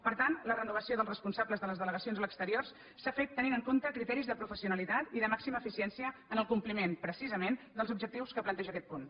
per tant la renovació dels responsables de les delegacions a l’exterior s’ha fet tenint en compte criteris de professionalitat i de màxima eficiència en el compliment precisament dels objectius que planteja aquest punt